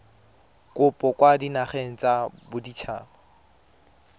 kopo kwa dinageng tsa baditshaba